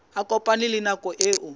a kopane le nako eo